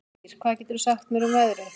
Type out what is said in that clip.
Mír, hvað geturðu sagt mér um veðrið?